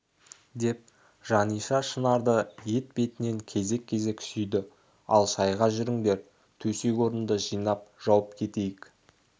деп жаниша шынарды еті бетінен кезек-кезек сүйді ал шайға жүріңдер төсек-орынды жинап жауып кетейік